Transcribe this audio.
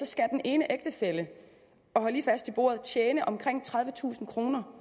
skal den ene ægtefælle og hold lige fast i bordet tjene omkring tredivetusind kroner